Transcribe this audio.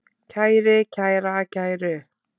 kæri, kæra, kæru